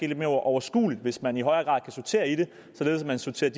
lidt mere overskueligt hvis man i højere grad kan sortere i det således at man sorterer